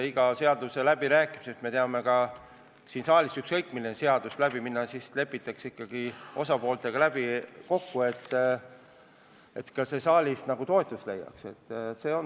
Iga eelnõu puhul on läbirääkimised, me teame siin saalis, et kui ükskõik milline seaduseelnõu peaks läbi minema, siis lepitakse ikkagi osapooltega kokku, et see saalis toetust leiaks.